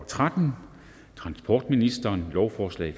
tretten transportministeren lovforslag